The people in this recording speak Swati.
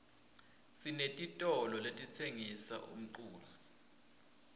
sinetitolo letitsengisa umculo